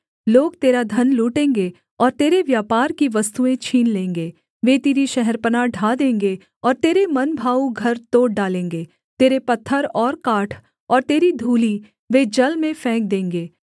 लोग तेरा धन लूटेंगे और तेरे व्यापार की वस्तुएँ छीन लेंगे वे तेरी शहरपनाह ढा देंगे और तेरे मनभाऊ घर तोड़ डालेंगे तेरे पत्थर और काठ और तेरी धूलि वे जल में फेंक देंगे